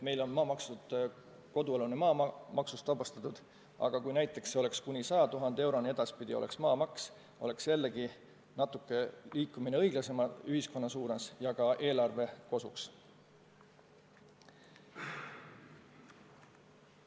Meil on kodualune maa maksust vabastatud, aga kui näiteks too alampiir oleks 100 000 eurot ja sellest alates tuleks maamaksu maksta, oleks jällegi samm õiglasema ühiskonna suunas ja ka eelarve kosuks.